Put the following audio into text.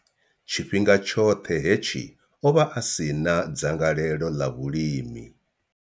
Tshifhinga tshoṱhe hetshi, o vha a si na dzangalelo ḽa vhulimi.